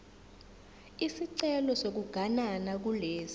isicelo sokuganana kulesi